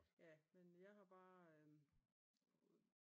Ja jamen jeg har bare